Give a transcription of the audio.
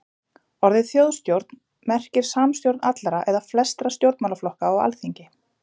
Orðið þjóðstjórn merkir samstjórn allra eða flestra stjórnmálaflokka á alþingi.